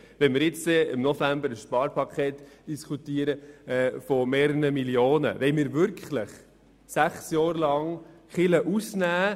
Wenn wir im November über ein Sparpaket im Umfang von mehreren Millionen Franken diskutieren, wollen wir dann wirklich die Kirche sechs Jahre lang ausklammern?